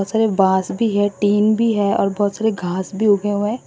बांस भी है टीन भी है और बहुत सारे घास भी उगे हुए हैं।